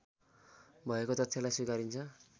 भएको तथ्यलाई स्वीकारिन्छ